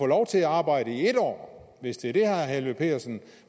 lov til at arbejde i en år hvis det er det herre helveg petersen